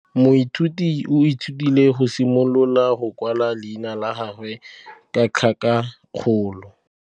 Moithuti o ithutile go simolola go kwala leina la gagwe ka tlhakakgolo.